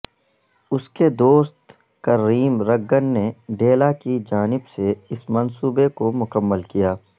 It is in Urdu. اس کے دوست کرریم رگگن نے ڈیلا کی جانب سے اس منصوبے کو مکمل کیا